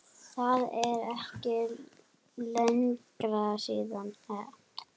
Það er ekki lengra síðan!